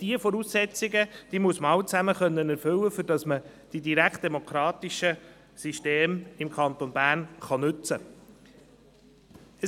Diese Voraussetzungen muss man alle erfüllen, damit man die direktdemokratischen Systeme im Kanton Bern nutzen kann.